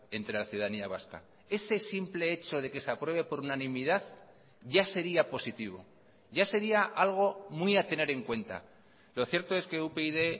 entre la ciudadanía vasca ese simple hecho de que se apruebe por unanimidad ya sería positivo ya sería algo muy a tener en cuenta lo cierto es que upyd